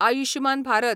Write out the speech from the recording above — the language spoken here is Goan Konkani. आयुश्यमान भारत